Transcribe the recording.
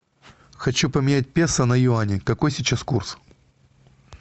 хочу поменять песо на юани какой сейчас курс